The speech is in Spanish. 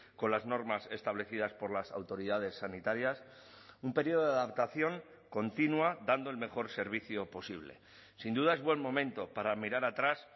con las normas establecidas por las autoridades sanitarias un periodo de adaptación continua dando el mejor servicio posible sin duda es buen momento para mirar atrás